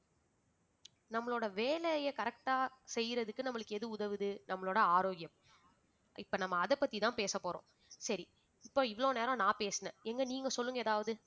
நம்மளோட வேலையை correct ஆ செய்யறதுக்கு நம்மளுக்கு எது உதவுது நம்மளோட ஆரோக்கியம் இப்ப நம்ம அதைப் பத்திதான் பேசப்போறோம் சரி இப்ப இவ்வளவு நேரம் நான் பேசினேன் எங்க நீங்க சொல்லுங்க ஏதாவது